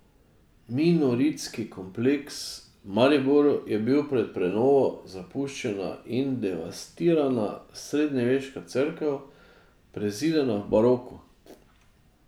Minoritski kompleks v Mariboru je bil pred prenovo zapuščena in devastirana srednjeveška cerkev, prezidana v baroku.